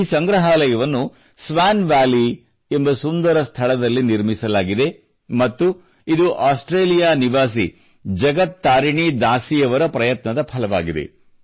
ಈ ಸಂಗ್ರಹಾಲಯವನ್ನು Swan Valley ಎಂಬ ಸುಂದರ ಸ್ಥಳದಲ್ಲಿ ನಿರ್ಮಿಸಲಾಗಿದೆ ಮತ್ತು ಇದು ಆಸ್ಟ್ರೇಲಿಯಾದ ನಿವಾಸಿ ಜಗತ್ ತಾರಿಣಿ ದಾಸಿಯವರ ಪ್ರಯತ್ನದ ಫಲವಾಗಿದೆ